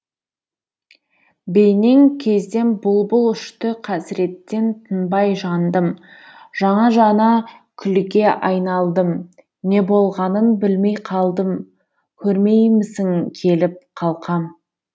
бейнең кезден бұл бұл ұшты қасіреттен тынбай жандым жана жана күлге айналдым не болғанын білмей қалдым көрмеймісің келіп калқам